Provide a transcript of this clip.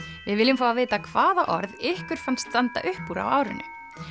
við viljum fá að vita hvaða orð ykkur fannst standa upp úr á árinu